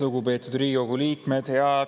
Lugupeetud Riigikogu liikmed!